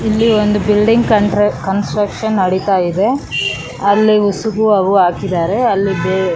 ಇಲ್ಲಿ ಒಂದು building con construction ನಡಿತಾ ಇದೆ ಅಲ್ಲಿ ಉಸುಕು ಹಾಕಿದಾರೆ ಅಲ್ಲಿ --